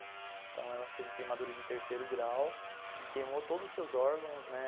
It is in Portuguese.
Então, ela teve queimadura de terceiro grau e queimou todos os seus órgãos, né.